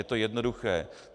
Je to jednoduché.